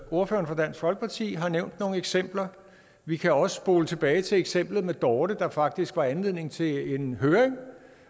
ordføreren for dansk folkeparti har nævnt nogle eksempler vi kan også spole tilbage til eksemplet med dorte der faktisk var anledningen til en høring